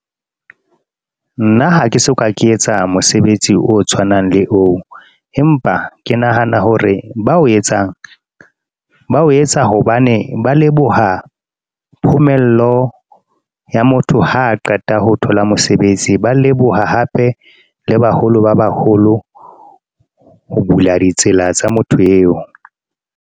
Nna ha ke soka ke etsa mosebetsi o tshwanang le oo, empa ke nahana hore ba o etsang ba o etsa, hobane ba leboha phumello ya motho ha qeta ho thola mosebetsi. Ba leboha hape le baholo ba baholo ho bula ditsela tsa motho eo.